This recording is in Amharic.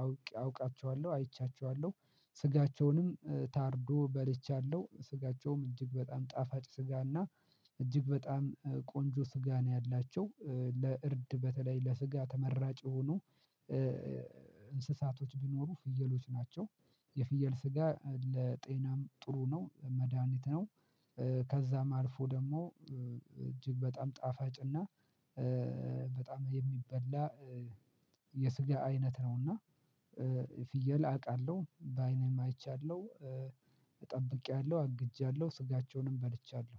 አውቄ አውቃቸዋለሁ። አይቻቸዋለሁ ስጋቸውንም ታርዶ በልቻለሁ ስጋቸውም እጅግ በጣም ጣፋጭ ስጋና እጅግ በጣም ቆንጆ ስጋ ነው ያላቸው ለእርድ በተለይ ለስጋ ተመራጭ የሆኑ እንስሳቶች ቢኖሩ ፍየሎች ናቸው የፍየል ስጋ ለጤናም ጥሩ ነው መድሃኒት ነው ከዛም አልፎ ደሞ እጅግ በጣም ጣፋጭና በጣም የሚበላ የስጋ አይነት ነውና ፍየል አቃለሁ ባይኔም አይቻለሁ ጠብቂያለሁ አግጃለሁ ስጋቸውንም በልቻለሁ